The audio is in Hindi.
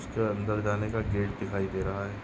उसके अंदर जाने का गेट दिखाई दे रहा है।